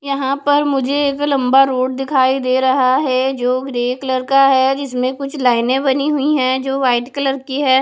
यहां पर मुझे एक लंबा रोड दिखाई दे रहा है जो ग्रे कलर का है जिसमें कुछ लाइने बनी हुई है जो वाइट कलर की है।